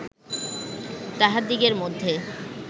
তাহাদিগের মধ্যে